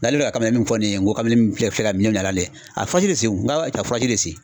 N'ale bi ka kamalenni min fɔ ni ye n ko kamalenni filɛ ka minɛn mina la nin ye a ye faji de sen n ka faji de sen